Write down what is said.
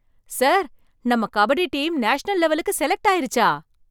Sir, நம்ம kabaddi team national லெவலுக்கு select ஆயிருச்சா?